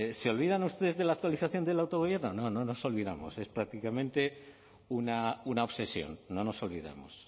se olvidan ustedes de la actualización del autogobierno no nos olvidamos es prácticamente una obsesión no nos olvidamos